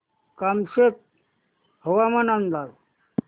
कामशेत हवामान अंदाज